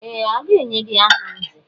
Ee! A ga-enye gị aha nzè.